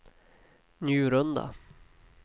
Njurunda